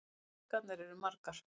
Blekkingarnar eru margar.